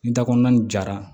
Ni da kɔnɔna ni jara